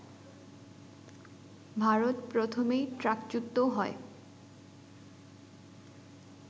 ভারত প্রথমেই ট্র্যাকচ্যুত হয়